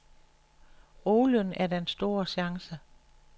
Olien er den store chance.